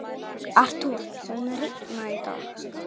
svaraði hún þar sem hún lá út af í myrkrinu.